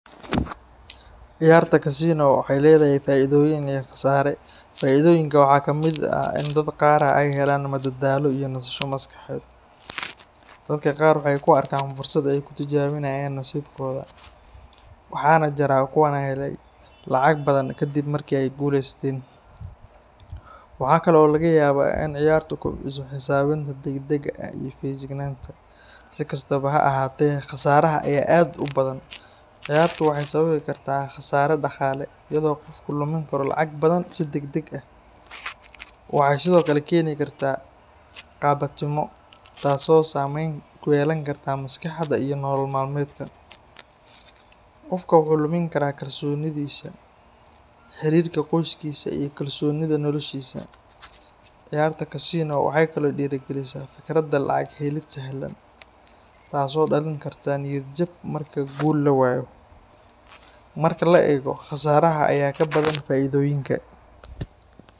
Ciyaarta kasino waxay leedahay faa’iidooyin iyo khasaare. Faa’iidooyinka waxaa ka mid ah in dadka qaar ay helaan madadaalo iyo nasasho maskaxeed. Dadka qaar waxay ku arkaan fursad ay ku tijaabiyaan nasiibkooda, waxaana jira kuwo helay lacag badan kadib markii ay guuleysteen. Waxa kale oo laga yaabaa in ciyaartu kobciso xisaabinta degdega ah iyo feejignaanta. Si kastaba ha ahaatee, khasaaraha ayaa aad u badan. Ciyaartu waxay sababi kartaa khasaare dhaqaale, iyadoo qofku lumin karo lacag badan si degdeg ah. Waxay sidoo kale keeni kartaa qabatimo, taasoo saameyn ku yeelan karta maskaxda iyo nolol maalmeedka. Qofka wuxuu lumin karaa kalsoonidiisa, xiriirka qoyskiisa, iyo xasiloonida noloshiisa. Ciyaarta kasino waxay kaloo dhiirrigelisaa fikradda lacag helid sahlan, taasoo dhalin karta niyad jab marka guul la waayo. Marka la eego, khasaaraha ayaa ka badan faa’iidooyinka